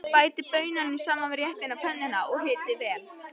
Bætið baununum saman við réttinn á pönnunni og hitið vel.